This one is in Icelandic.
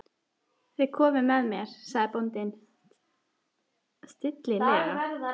Þið komið með mér, sagði bóndinn stillilega.